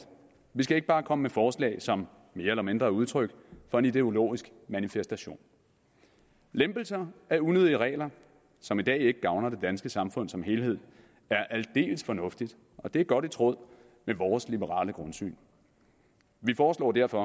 vi skal ikke bare komme med forslag som jeg mener er udtryk for en ideologisk manifestation en lempelse af unødige regler som i dag ikke gavner det danske samfund som helhed er aldeles fornuftigt og det er godt i tråd med vores liberale grundsyn vi foreslår derfor